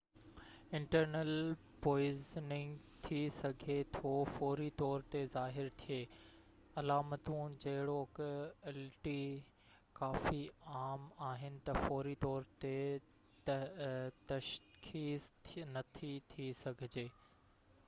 internal poisoning ٿي سگهي ٿو فوري طور تي ظاهر ٿئي علاماتون جهڙوڪ الٽي ڪافي عام آهن ته فوري طور تي تشخيص نٿي ٿي سگهجي